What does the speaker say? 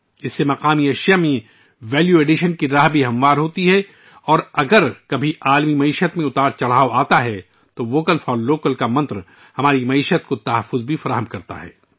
اس سے مقامی مصنوعات میں ویلیو ایڈیشن کی راہ بھی ہموار ہوتی ہے اور اگر کبھی عالمی معیشت میں اتار چڑھاؤ آتے ہیں تو مقامی کے لیے ووکل کا منتر ہماری معیشت کو بھی تحفظ فراہم کرتا ہے